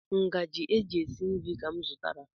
Ngaji e ji esi nri ka m zụtara.